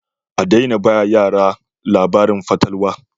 A daina ba yara labarin fatalwa